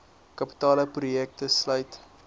kapitale projekte sluit